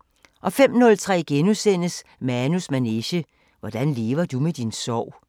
* 05:03: Manus manege: Hvordan lever du med din sorg? *